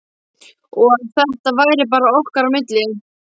Og að þetta væri bara okkar á milli.